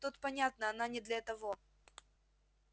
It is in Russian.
тут понятно она не для того